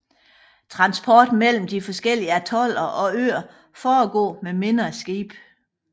Transport mellem de forskellige atoller og øer foregår med mindre skibe